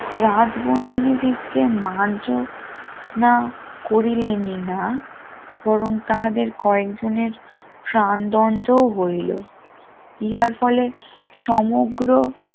রাজ বন্দিনী দিকে মার্জ না করিলেনি না বরং তাহাদের কয়েকজনের সমগ্র